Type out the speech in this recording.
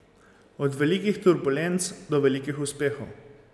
Od velikih turbulenc do velikih uspehov.